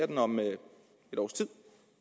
den om et års tid